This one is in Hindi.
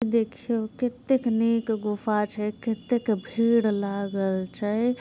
देखियो कितेक नीक गुफा छै कितेक भीड़ लागल छै।